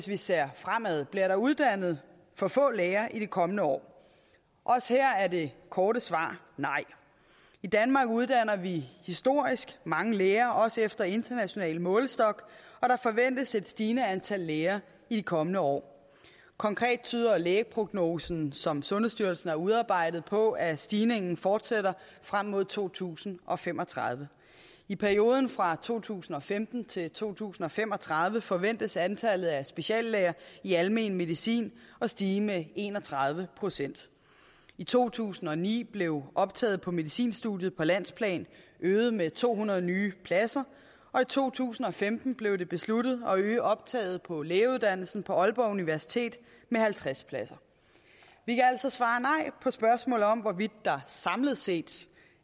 vi ser fremad bliver der uddannet for få læger i de kommende år også her er det korte svar nej i danmark uddanner vi historisk mange læger også efter international målestok og der forventes et stigende antal læger i de kommende år konkret tyder lægeprognosen som sundhedsstyrelsen har udarbejdet på at stigningen fortsætter frem mod to tusind og fem og tredive i perioden fra to tusind og femten til to tusind og fem og tredive forventes antallet af speciallæger i almen medicin at stige med en og tredive procent i to tusind og ni blev optaget på medicinstudiet på landsplan øget med to hundrede nye pladser og i to tusind og femten blev det besluttet at øge optaget på lægeuddannelsen på aalborg universitet med halvtreds pladser vi kan altså svare nej på spørgsmålet om hvorvidt der samlet set